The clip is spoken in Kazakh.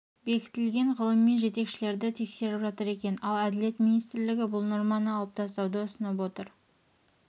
бекітілген ғылыми жетекшілерді тексеріп жатыр екен ал әділет министрлігі бұл норманы алып тастауды ұсынып отыр